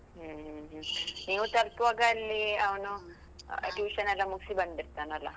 ಹ್ಮ್ ಹ್ಮ್ ಹ್ಮ್, ನೀವು ತಲ್ಪುವಾಗ ಅಲ್ಲಿ ಅವ್ನು ಎಲ್ಲ ಮುಗ್ಸಿ ಬಂದಿರ್ತಾನಲ್ಲ?